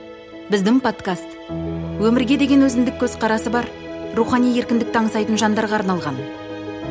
біздің подкаст өмірге деген өзіндік көзқарасы бар рухани еркіндікті аңсайтын жандарға арналған